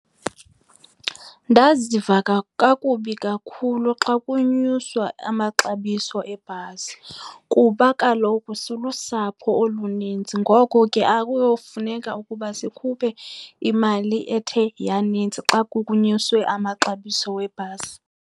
Ndaziva kakubi kakhulu xa kunyuswa amaxabiso ebhasi kuba kaloku silusapho olunintsi. Ngoko ke kuyomfuneko ukuba sikhuphe imali ethe yaninzi xa kunyuswe amaxabiso webhasi.